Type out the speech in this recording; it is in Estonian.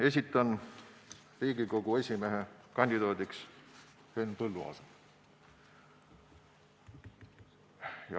Esitan Riigikogu esimehe kandidaadiks Henn Põlluaasa.